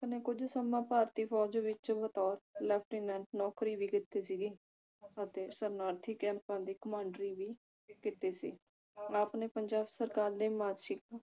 ਨੇ ਕੁਝ ਸਮਾਂ ਭਾਰਤੀ ਫੌਜ ਵਿਚ ਬਤੌਰ lieutenant ਨੌਕਰੀ ਵੀ ਕੀਤੀ ਸੀਗੀ ਸ਼ਰਨਾਰਥੀ ਕੈੰਪਾਂ ਦੀ ਕਮਾਂਡਰੀ ਵੀ ਕੀਤੀ ਸੀ ਆਪ ਨੇ ਪੰਜਾਬ ਸਰਕਾਰ ਦੇ